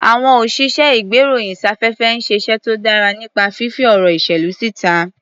Àwọn òsìṣẹ́-ìgbéròyìn-sáfẹ́fẹ́ ń ṣiṣẹ́ tó dára nípa fífí ọ̀rọ̀ ìṣèlú síta.